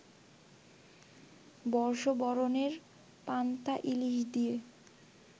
বর্ষবরণের পান্তা ইলিশ দিয়ে